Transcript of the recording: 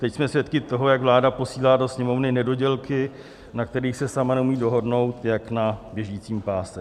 Teď jsme svědky toho, jak vláda posílá do Sněmovny nedodělky, na kterých se sama neumí dohodnout, jak na běžícím páse.